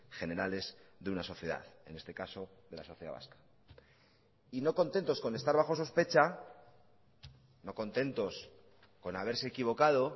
generales de una sociedad en este caso de la sociedad vasca y no contentos con estar bajo sospecha no contentos con haberse equivocado